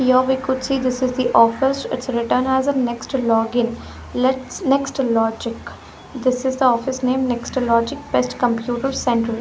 here we could see this is the office it's written as a next login let's next logic this is the office name next logic best computer center.